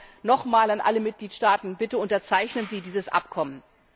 Darum nochmals an alle Mitgliedstaaten Bitte unterzeichnen Sie dieses Abkommen!